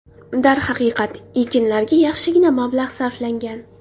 Darhaqiqat, ekinlarga yaxshigina mablag‘ sarflangan.